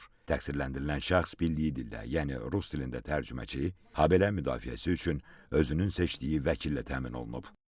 Təqsirləndirilən şəxs bildiyi dildə, yəni rus dilində tərcüməçi, habelə müdafiəsi üçün özünün seçdiyi vəkillə təmin olunub.